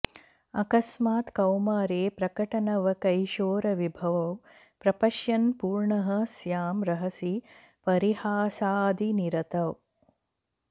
अकस्मात् कौमारे प्रकटनवकैशोरविभवौ प्रपश्यन् पूर्णः स्यां रहसि परिहासादिनिरतौ